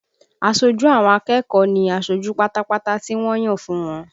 Aṣojú àwọn akẹ́kọ̀ọ́ ní aṣojú pátápátá tí wọ́n ń yàn fún wọn